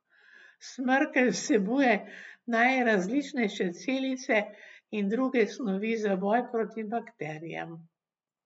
Smrkelj vsebuje najrazličnejše celice in druge snovi za boj proti bakterijam.